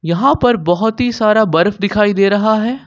यहां पर बहोत ही सारा बर्फ दिखाई दे रहा है।